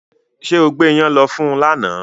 Ṣé o gbé ìyàn lọ fún lánàá